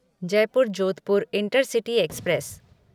Jaipur Jodhpur intercity express